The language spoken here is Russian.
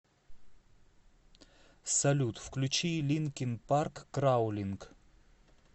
салют включи линкин парк краулинк